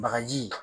Bagaji